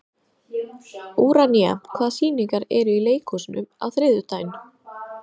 Úranía, hvaða sýningar eru í leikhúsinu á þriðjudaginn?